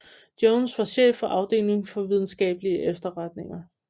Jones var chef for afdelingen for videnskabelige efterretninger